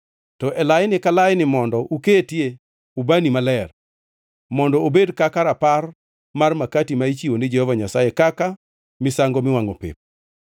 To e laini ka laini mondo ukete ubani maler, mondo obed kaka rapar mar makati ma ichiwo ni Jehova Nyasaye kaka misango miwangʼo pep.